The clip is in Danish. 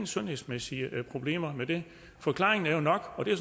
sundhedsmæssige problemer med det forklaringen er nok og det er